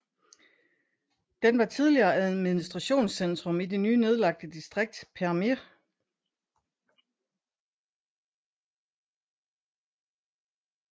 Den var tidligere administrationscentrum i det nu nedlagte distrikt Përmet